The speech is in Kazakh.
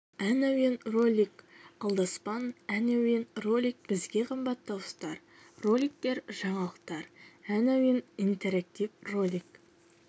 ән әуен ролик алдаспан ән әуен ролик бізге қымбат дауыстар роликтер жаңалықтар ән әуен интерактив ролик